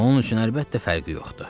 Onun üçün əlbəttə fərqi yoxdur.